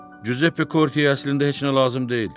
Cüzəppe Korteyə əslində heç nə lazım deyil.